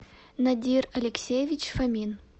надир алексеевич фомин